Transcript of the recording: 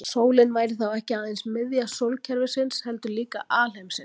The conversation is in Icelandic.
Sólin væri þá ekki aðeins miðja sólkerfisins heldur líka alheimsins.